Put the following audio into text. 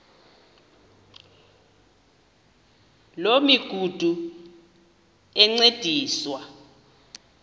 loo migudu encediswa